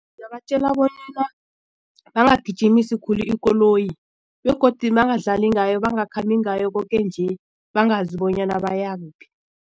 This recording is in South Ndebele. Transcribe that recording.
bonyana bangagijimisi khulu ikoloyi begodu bangadlali ngayo bangakhambi ngayo koke nje bangazi bonyana bayakuphi.